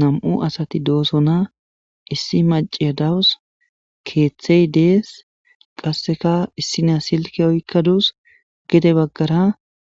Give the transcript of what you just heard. nam7u asati doosona issi maciya dawus keeththey dees qasseka issina silke oykkaduus gede baggara